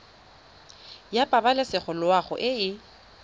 ya pabalesego loago e e